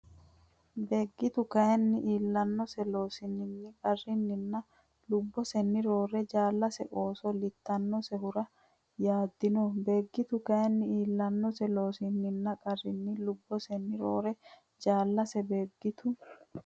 Beeggitu kayinni iillannose Loossinanni qarrinninna lubbosenni roore jaallase oso litannosehura yaaddino Beeggitu kayinni iillannose Loossinanni qarrinninna lubbosenni roore jaallase Beeggitu.